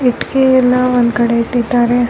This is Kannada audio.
ಇಟ್ಕೆ ಎಲ್ಲಾ ಒಂದ್ ಕಡೆ ಇಟ್ಟಿದ್ದಾರೆ .